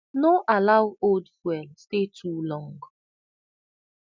no allow old fuel stay too long